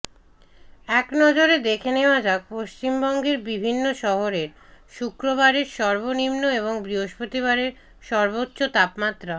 একনজরে দেখে নেওয়া যাক পশ্চিমবঙ্গের বিভিন্ন শহরের শুক্রবারের সর্বনিম্ন এবং বৃহস্পতিবারের সর্বোচ্চ তাপমাত্রা